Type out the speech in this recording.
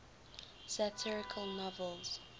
satirical novels